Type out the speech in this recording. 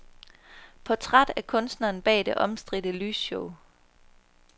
Portræt af kunstneren bag det omstridte lysshow.